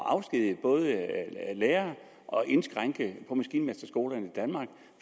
at afskedige lærere og indskrænke på maskinmesterskolerne i danmark